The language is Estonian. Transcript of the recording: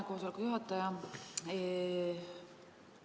Aitäh, istungi juhataja!